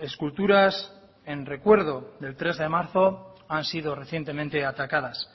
esculturas en recuerdo del tres de marzo han sido recientemente atacadas